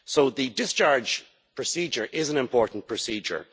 The discharge procedure is an important procedure.